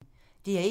DR1